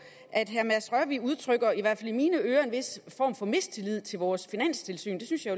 at herre mads rørvig udtrykker i hvert fald i mine ører en vis form for mistillid til vores finanstilsyn det synes jeg